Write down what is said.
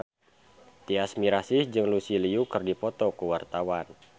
Tyas Mirasih jeung Lucy Liu keur dipoto ku wartawan